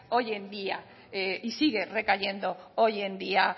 hoy en día y sigue recayendo hoy en día